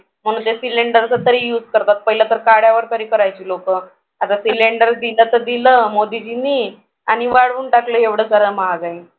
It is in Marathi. म्हणून ते cylinder चा तरी use करतात. पहिला तर काड्यावर तरी करायचे लोकं आता cylinder दिलं तर दिलं मोदीजींनी आणि वाढवून टाकलं एवढं सगळं महागाई